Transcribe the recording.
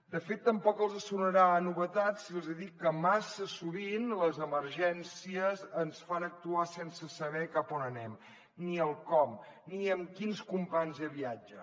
de fet tampoc els sonarà a novetat si els dic que massa sovint les emergències ens fan actuar sense saber cap on anem ni el com ni amb quins companys de viatge